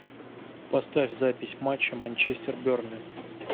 поставь запись матча манчестер бернли